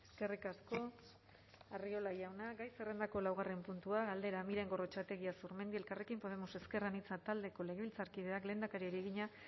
eskerrik asko arriola jauna gai zerrendako laugarren puntua galdera miren gorrotxategi azurmendi elkarrekin podemos ezker anitza taldeko legebiltzarkideak lehendakariari egina